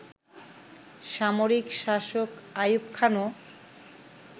সামরিক শাসক আইয়ুব খানও